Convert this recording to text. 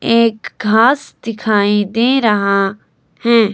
एक घास दिखाई दे रहा हैं।